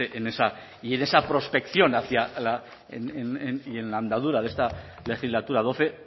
en esa prospección hacia la andadura de esta legislatura doce